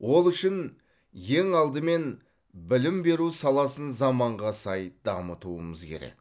ол үшін ең алдымен білім беру саласын заманға сай дамытуымыз керек